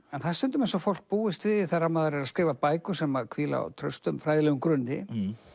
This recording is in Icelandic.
en það er stundum eins og fólk búist við því þegar maður er að skrifa bækur sem hvíla á traustum fræðilegum grunni